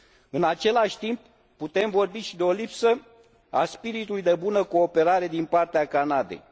În același timp, putem vorbi și de o lipsă a spiritului de bună cooperare din partea Canadei.